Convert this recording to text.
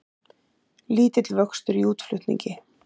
Lítill vöxtur í útflutningi